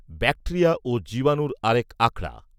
বাক্টেরিয়া ও জীবাণূর আরেক আখড়া